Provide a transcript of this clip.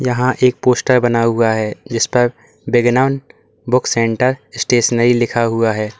यहां एक पोस्टर बना हुआ है जिस पर बिगनन बुक सेंटर स्टेशनरी लिखा हुआ है।